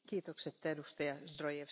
Sehr geehrte Frau Präsidentin!